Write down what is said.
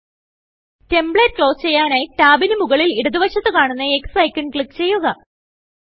template close ചെയ്യാനായി ടാബിന് മുകളിൽ ഇടതു വശത്ത് കാണുന്ന Xഐക്കൺ ക്ലിക്ക് ചെയ്യുക